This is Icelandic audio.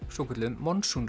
svokölluðum